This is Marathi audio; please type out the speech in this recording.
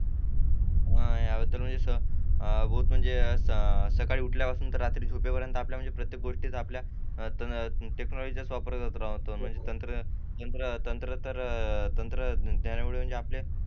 हा याबद्दल म्हणजे बहुत म्हणजे त्याच्या सकाळी उठल्यावर पासून तर रात्री झोपे पर्यंत आपल्या म्हणजे प्रत्येक गोष्टींचा आपल्या टेक्नॉलॉजी चा चा वापर होतो म्हणजे तंत्रज्ञान तंत्र तंत्रज्ञानामुळे आपले